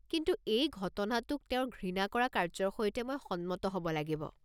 কিন্তু এই ঘটনাটোক তেওঁৰ ঘৃণা কৰা কাৰ্য্যৰ সৈতে মই সন্মত হ'ব লাগিব।